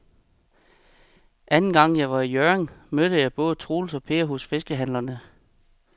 Anden gang jeg var i Hjørring, mødte jeg både Troels og Per hos fiskehandlerne.